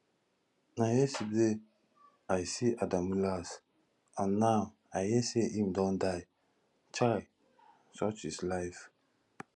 na yesterday i see adamu last and now i hear say im don die chai such is life